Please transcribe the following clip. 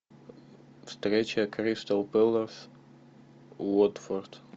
встреча кристал пэлас уотфорд